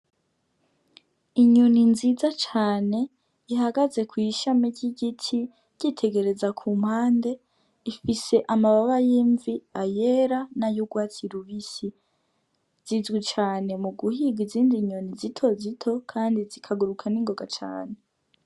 Inyoni nziza cane ihagaze kw'ishami ry'igiti yitegereza ku mpande. Ifise amababa y'imvi, ayera, n'ay'ugwatsi rubisi. Zizwi cane muguhiga izindi nyoni zitozito kandi zikaguruka ningoga cane.